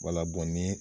Wala ni